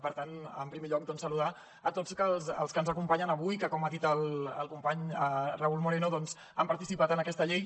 per tant en primer lloc saludar a tots els que ens acompanyen avui que com ha dit el company raúl moreno doncs han participat en aquesta llei